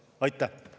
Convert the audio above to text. Aitäh!